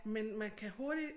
Men man kan hurtig